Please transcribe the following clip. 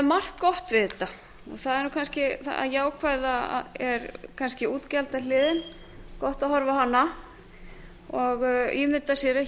margt gott við þetta og það jákvæða er kannski útgjaldahliðin gott að horfa a hana og ímynda sér að